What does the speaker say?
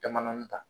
Jama dɔɔni ta